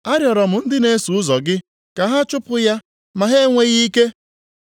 Arịọrọ m ndị na-eso ụzọ gị ka ha chụpụ ya, ma ha enweghị ike.”